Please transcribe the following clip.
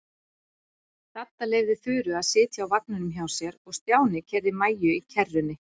Dadda leyfði Þuru að sitja á vagninum hjá sér og Stjáni keyrði Maju í kerrunni.